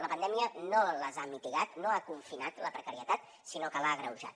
la pandèmia no les ha mitigat no ha confinat la precarietat sinó que l’ha agreujat